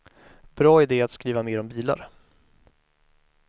Bra idé att skriva mer om bilar.